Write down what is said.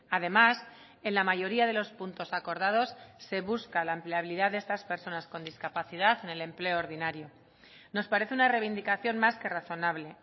además en la mayoría de los puntos acordados se busca la empleabilidad de estas personas con discapacidad en el empleo ordinario nos parece una reivindicación más que razonable